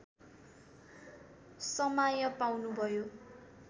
समाय पाउनु भयो